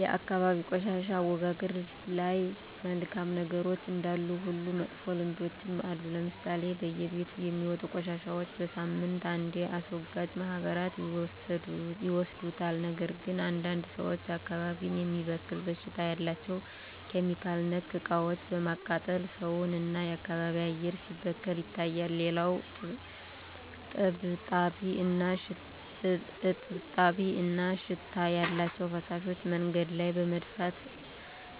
የአካባቢ የቆሻሻ አወጋገድ ላይ መልካም ነገሮች እንዳሉ ሁሉ መጥፎ ልምዶችም አሉ ለምሳሌ በየቤቱ የሚወጡ ቆሻሻዎች በሳምንት አንዴ አስወጋጅ ማህበራት ይወስዱታል ነገር ግን አንዳንድ ሰዎች አካባቢን የሚበክል ሽታ ያላቸው (ኬሚካል)ነክ እቃዎችን በማቃጠል ሰውን እና የአካባቢ አየር ሲበከል ይታያል። ሌላው እጥብጣቢ እና ሽታ ያላቸው ፍሳሾች መንገድ ላይ በመድፋት